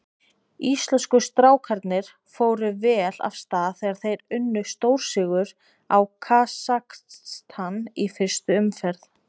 Íslensku strákarnir fóru vel af stað þegar þeir unnu stórsigur á Kasakstan í fyrstu umferð.